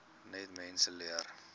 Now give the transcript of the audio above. net mense leer